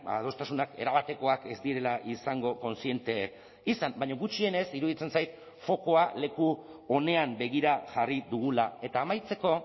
adostasunak erabatekoak ez direla izango kontziente izan baina gutxienez iruditzen zait fokua leku onean begira jarri dugula eta amaitzeko